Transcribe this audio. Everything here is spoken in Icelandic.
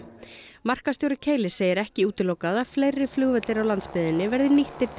markaðsstjóri Keilis segir ekki útilokað að fleiri flugvellir á landsbyggðinni verði nýttir til